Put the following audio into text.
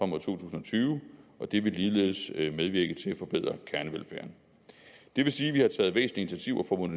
mod to tusind og tyve og det vil ligeledes medvirke til at forbedre kernevelfærden det vil sige at vi har taget væsentlige initiativer for